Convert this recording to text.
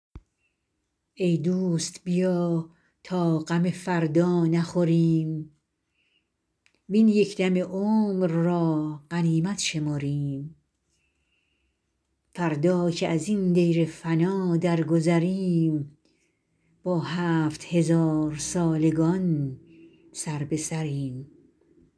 ای دوست بیا تا غم فردا نخوریم وین یک دم عمر را غنیمت شمریم فردا که ازین دیر فنا درگذریم با هفت هزارسالگان سربه سریم